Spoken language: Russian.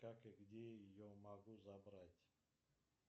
как и где ее могу забрать